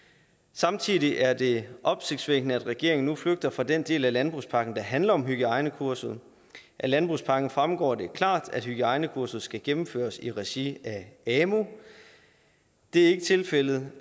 samtidig er det opsigtsvækkende at regeringen nu flygter fra den del af landbrugspakken der handler om hygiejnekurset af landbrugspakken fremgår det klart at hygiejnekurset skal gennemføres i regi af amu det er ikke tilfældet